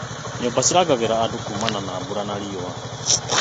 Nyũmba cirangagĩra andũ kuumana na mbura na riũa.